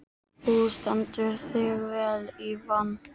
Þú stendur þig vel, Ívan!